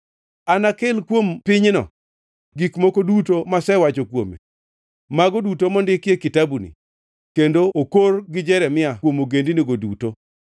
Anakel kuom pinyno gik moko duto masewacho kuome, mago duto mondiki e kitabuni kendo okor gi Jeremia kuom ogendini duto.